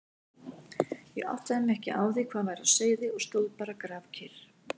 Ég áttaði mig ekki á því hvað væri á seyði og stóð bara grafkyrr.